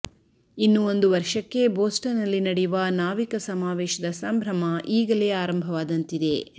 ಇನ್ನು ಒಂದು ವರ್ಷಕ್ಕೆ ಬೋಸ್ಟನ್ ನಲ್ಲಿ ನಡೆಯುವ ನಾವಿಕ ಸಮಾವೇಶದ ಸಂಭ್ರಮ ಈಗಲೇ ಆರಂಭವಾದಂತಿದೆ